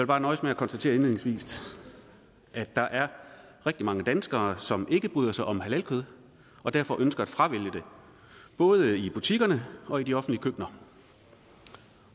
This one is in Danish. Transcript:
bare nøjes med at konstatere indledningsvis at der er rigtig mange danskere som ikke bryder sig om halalkød og derfor ønsker at fravælge det både i butikkerne og i de offentlige køkkener